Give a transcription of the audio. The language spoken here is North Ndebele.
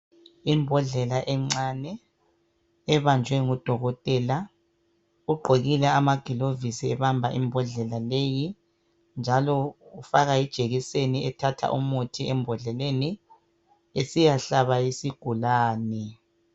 Imbodlela encane ebanjwe ngudokotela, ugqokile amaglovisi ebamba imbodlela leyi njalo ufaka ijekiseni ethatha umuthi embodleni esiyahlaba isigulane